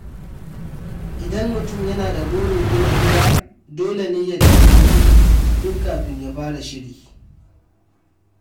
Idan mutum yana da burin gina gida, dole ne ya tanadi kuɗi tun kafin ya fara shirin.